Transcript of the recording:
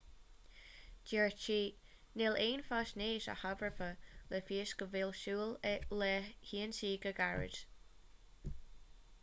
dúirt sí níl aon fhaisnéis a thabharfadh le fios go bhfuil súil le hionsaí go gairid